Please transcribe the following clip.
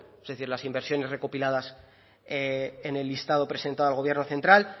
es decir las inversiones recopiladas en el listado presentado al gobierno central